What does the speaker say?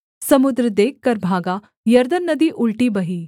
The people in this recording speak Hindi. समुद्र देखकर भागा यरदन नदी उलटी बही